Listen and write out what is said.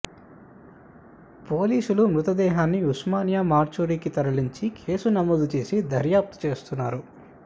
పోలీసులు మృతదేహాన్ని ఉస్మానియా మార్చురీకి తరలించి కేసు నమోదు చేసి దర్యాప్తు చేస్తున్నారు